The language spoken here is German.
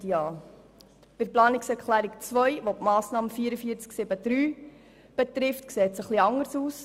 Bei Planungserklärung 2, welche die Massnahme 44.7.3 betrifft, sieht es etwas anders aus.